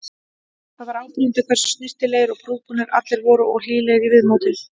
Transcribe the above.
Það var áberandi hversu snyrtilegir og prúðbúnir allir voru og hlýlegir í viðmóti.